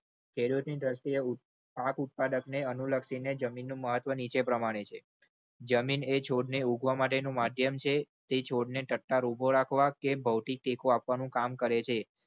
ખેડૂત ની દ્રષ્ટિએ પાક ઉત્પાદકને અનુલક્ષીને જમીનનું મહત્વ નીચે પ્રમાણે છે જમીન એ છોડને ઉગવા માટેનું માધ્યમ છે તે છોડને ટટ્ટાર ઉભો રાખવા કે ભૌતિક ટેકો આપવાનું કામ કરે છે.